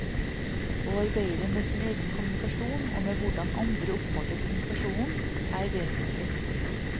Å arbeide med sin egen kommunikasjon og med hvordan andre oppfatter kommunikasjonen, er vesentlig.